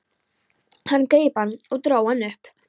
Hann greip hann og dró hann upp.